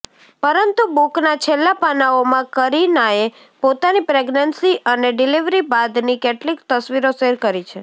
પરંતુ બુકના છેલ્લા પાનાઓમાં કરીનાએ પોતાની પ્રગ્નેન્સી અને ડિલીવરી બાદની કેટલીક તસવીરો શેયર કરી છે